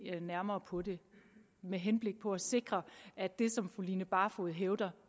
nærmere på det med henblik på at sikre at det som fru line barfod hævder